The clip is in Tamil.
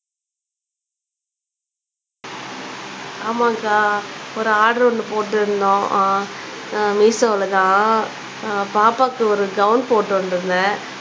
ஆமாங்கா ஒரு ஆர்டர் ஒண்ணு போட்டுருந்தோம் அஹ் உம் மீஷோல தான் பாப்பாக்கு ஒரு கவுன் போட்டுருந்தேன்